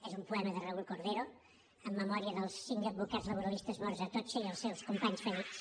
és un poema de raúl cordero en memòria dels cinc advocats laboralistes morts a atocha i els seus companys ferits